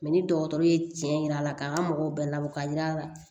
ni dɔgɔtɔrɔ ye tiɲɛ yir'a la k'an ka mɔgɔw bɛɛ labɔ ka yira la